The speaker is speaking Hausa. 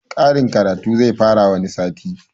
Karin karatu zai fara wani sati